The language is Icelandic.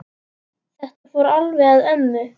Þetta fór alveg með ömmu.